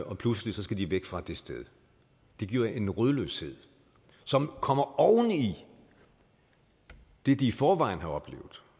og pludselig skal de væk fra det sted det giver en rodløshed som kommer oven i det de i forvejen har oplevet